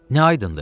Nə aydındır?